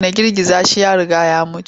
Dena girgiza shi ya riga ya mutu.